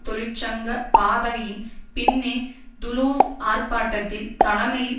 தொழிற் சங்க பதாகையின் பின்னே துலூஸ் ஆர்ப்பாட்டத்தில் தலைமையில்